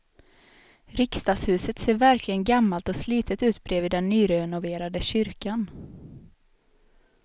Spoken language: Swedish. Riksdagshuset ser verkligen gammalt och slitet ut bredvid den nyrenoverade kyrkan.